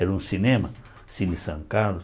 Era um cinema, Cine São Carlos.